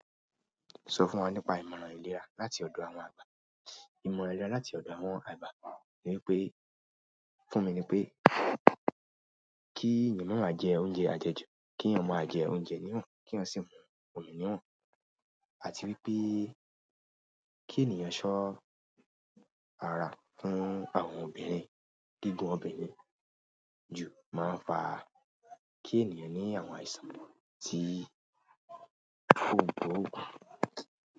Aṣọ funwa nípa ìmọ̀ràn ile láti ọdọ àwọn agba ìmọ̀ràn ìlera láti ọdọ àwọn àgba ni wípé, fún mi ni wípé ki èèyàn maa ma je oúnjẹ ajeju, ki èèyàn máa jẹ oúnjẹ niwon kii èèyàn o si mumi niwon àti wípé kí ènìyàn ṣọ́ ara fún àwọn obìnrin. Gígùn obìnrin ju máa ń fa kí ènìyàn ní àwọn àìsàn tí ko gbo oògùn.